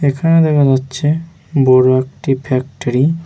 এখানে দেখা যাচ্ছে বড় একটি ফ্যাক্টরি ।